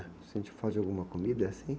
Sente falta de alguma comida, assim?